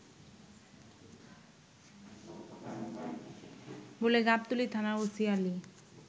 বলে গাবতলী থানার ওসি আলী